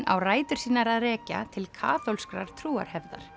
á rætur sínar að rekja til kaþólskrar